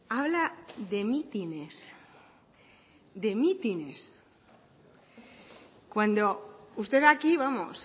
habla de mítines de mítines cuando usted aquí vamos